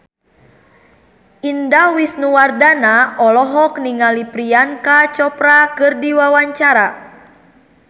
Indah Wisnuwardana olohok ningali Priyanka Chopra keur diwawancara